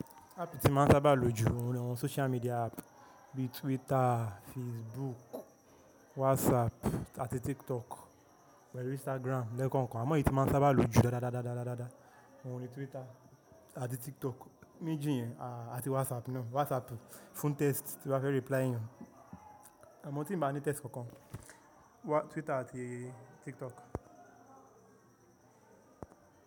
Ápp tí máa ń sábà lò ju òun ni àwọn social media app bíi Twitter, Facebook, WhatsApp àti TikTok pelu Instagram lẹ́ẹ̀kan kan. Àmọ́ èyí tí máa ń sábà lò ju dáadáa ni òun ni Twitter àti TikTok méjì yẹn, àti WhatsApp náà. WhatsApp fún text tí wá fẹ́ reply èèyàn. Àmọ́ tí ì bá ní text kankan, Twitter àti TikTok.